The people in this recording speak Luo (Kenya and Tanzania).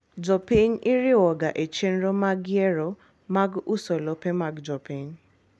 Jopiny iriwoga echenro mag yiero mag uso lope mag jopiny.